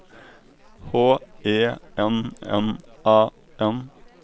H E N N A N